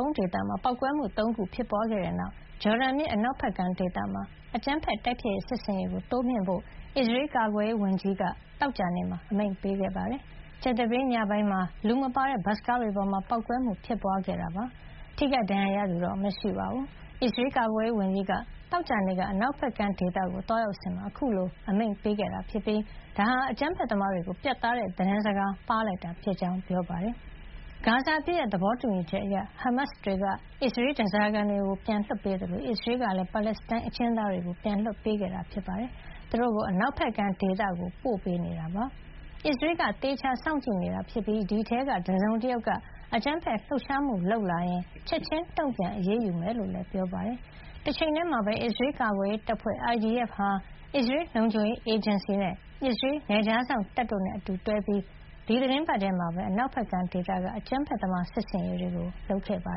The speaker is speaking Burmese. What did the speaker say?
ုံးဒေသမှာ ပေါက်ကွဲမှု ၃ ခု ဖြစ်ပွါးခဲ့တဲ့နောက် ဂျော်ဒန်မြစ် အနောက်ဘက်ကမ်းဒေသမှာ အကြမ်းဖက်တိုက်ဖျက်မှု စစ်ဆင်ရေးကို တိုးမြှင့်ဖို့ အစ္စရေးကာကွယ်ရေးဝန်ကြီး Israel Katz က သောကြာနေ့မှာ အမိန့်ပေးခဲ့ပါတယ်။ ကြာသပတေးညပိုင်းမှာ လူမပါတဲ့ ဘတ်စ်ကားတွေပေါ်မှာ ပေါက်ကွဲမှု ဖြစ်ပွါးခဲ့တာဖြစ်ပြီး ထိခိုက်ဒဏ်ရာရသူ မရှိပါဘူး။ အစ္စရေးကာကွယ်ရေး ဝန်ကြီးက သောကြာနေ့ အနောက်ဘက်ကမ်း ဒေသကို သွားရောက်စဉ်မှာ အခုလို အမိန့်ပေးလိုက်တာ ဖြစ်ပြီး ဒါဟာ အကြမ်းဖက်သမားတွေကို ပြတ်သားတဲ့ သတင်းစကား ပါးလိုက်တာဖြစ်ကြောင်း ပြောပါတယ်။ ဂါဇာအပစ်ရပ် သဘောတူညီချက်အရ ဟားမတ်စ်တွေက အစ္စရေး ဓါးစာခံတွေ ပြန်လွှတ်ပေးသလို အစ္စရေးကလည်း ပါလက်စတိုင်းအကျဉ်းသားတွေ ပြန်လွှတ်ပေးခဲ့တာပါ။ သူတို့ကို အနောက်ဘက်ကမ်းဒေသကို ပို့ပေးနေပြီး အစ္စရေးက သေချာစောင့်ကြည့်နေတာ ဖြစ်ပါတယ်။ အဲဒီထဲက တစုံတယောက်က အကြမ်းဖက်လှုပ်ရှားမှု လုပ်လာရင် ချက်ချင်းတုံ့ပြန် အရေးယူမှာ ဖြစ်ကြောင်းလည်း ပြောပါတယ်။ တချိန်ထဲမှာပဲ အစ္စရေးကာကွယ်ရေးတပ်ဖွဲ့ IDF ဟာ အစ္စရေးလုံခြုံရေးအေဂျင်စီ၊ အစ္စရေးနယ်ခြားစောင့်တပ်တို့နဲ့ အတူတွဲပြီး ဒီသီတင်းပတ်ထဲ အနောက်ဘက်ကမ်းမှာ အကြမ်းဖက်သမား စစ်ဆင်ရေးတွေ လုပ်ခဲ့တာပါ